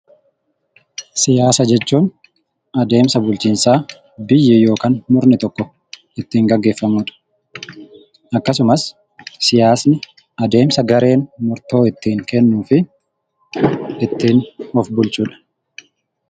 Siyaasa jechuun adeemsa bulchiinsaa biyyi yookiin murni tokko ittiin gaggeeffamudha. Akkasumas, adeemsa gareen murtoo ittiin kennuu fi of bulchudha.